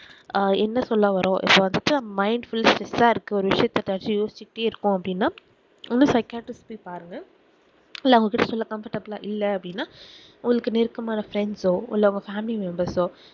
அஹ் என்ன சொல்லவறோம் இப்போ வந்துட்டு நம்ம mind full ஆஹ் stress ஆஹ் இருக்கு ஒரு விசயத்த பத்தி யோசிட்டே இருக்கோம் அப்டினா psychiatrist போய்பாருங்க இல்ல அவங்க கிட்ட சில comfortable இல்ல அப்டினா உங்களுக்கு நெருக்கமான friends ஓ இல்ல உங்க family member ஓ